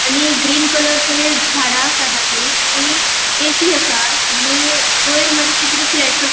आणि green colour थंय झाडा आसा धाकली आणि ए.सी. आसा आणि वयर मात्शी किते फ्लैट्स आ --